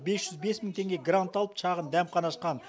бес жүз бес мың теңге грант алып шағын дәмхана ашқан